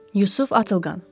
Yusuf Atılqan.